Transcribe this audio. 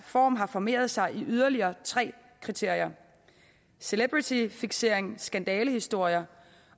form har formeret sig i yderligere tre kriterier celebrityfiksering skandalehistorier